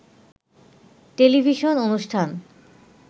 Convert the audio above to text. television অনুষ্ঠান